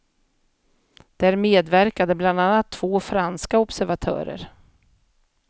Där medverkade bland andra två franska observatörer.